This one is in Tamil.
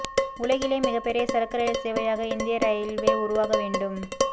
உலகிலேயே மிகப் பெரிய சரக்கு ரயில் சேவையாக இந்திய ரயில்வே உருவாக வேண்டும்